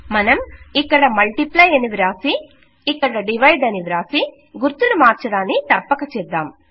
మనం ఇక్కడ మల్టిప్లై అని వ్రాసి ఇక్కడ డివైడ్ అని వ్రాసి గుర్తును మార్చడాన్ని తప్పక చేద్దాం